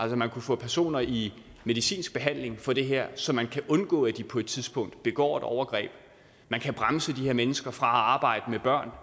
man kunne få personer i medicinsk behandling for det her så man kan undgå at de på et tidspunkt begår et overgreb man kan bremse de her mennesker fra at arbejde med børn